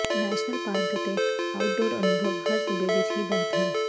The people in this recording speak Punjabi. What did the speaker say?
ਨੈਸ਼ਨਲ ਪਾਰਕ ਅਤੇ ਆਊਟਡੋਰ ਅਨੁਭਵ ਹਰ ਸੂਬੇ ਵਿਚ ਵੀ ਬਹੁਤ ਹਨ